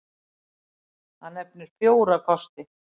Hann nefnir fjóra kosti.